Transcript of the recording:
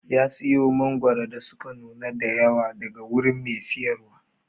ya siyo mangoro da suka nuna da yawa daga wurin Mai siyarwa.